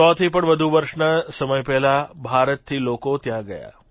100થી પણ વધુ વર્ષના સમય પહેલાં ભારતથી લોકો ત્યાં ગયા